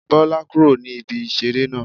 Bọ́lá kúrò ní ibi ìṣeré náà